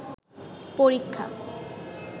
পরীক্ষা